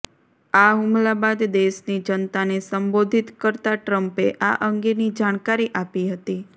આ હુમલા બાદ દેશની જનતાને સંબોધિત કરતાં ટ્રંપે આ અંગેની જાણકારી આપી હતી